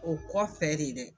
O kɔfɛ de dɛ.